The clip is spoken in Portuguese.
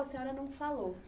A senhora não falou.